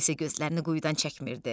O isə gözlərini quyudan çəkmirdi.